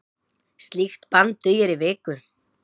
Slíkt bann dugir í viku.